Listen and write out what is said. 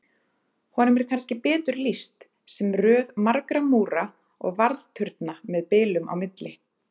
Honum er kannski betur lýst sem röð margra múra og varðturna með bilum á milli.